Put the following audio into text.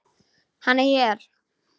Hann er hér.